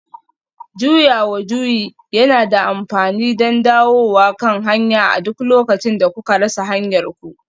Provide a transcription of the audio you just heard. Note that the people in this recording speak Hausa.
Juyawa juyi yana da amfani don dawowa kan hanya a duk lokacin da kuka rasa hanyarku